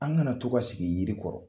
An ŋana to ka sigi yiri kɔrɔ.